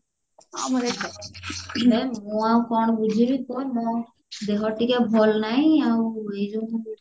ହେ ମୁଁ ଆଉ କଣ ବୁଝିବି ତୁ ମୁଁ ଦେହ ଟିକେ ଭଲ ନାହିଁ ଆଉ ଏ